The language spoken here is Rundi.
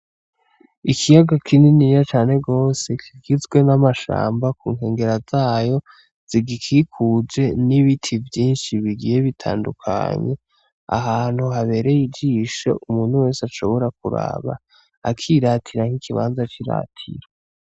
Ikiyaga kininiya cane gose kigizwe n' amashamba ku nkengera zayo zigikikuje n' ibiti vyinshi bigiye bitandukanye ahantu habereye ijisho umuntu wese ashobora kuraba akiratira n' ikibanza c'iratiro.